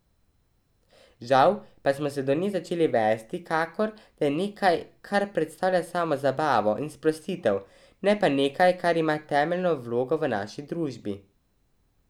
Žal pa smo se do nje začeli vesti, kakor da je nekaj, kar predstavlja samo zabavo in sprostitev, ne pa nekaj, kar ima temeljno vlogo v naši družbi.